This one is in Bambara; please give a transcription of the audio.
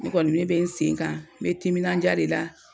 Ne kɔni ne bɛ n sen kan me timinandiya de la.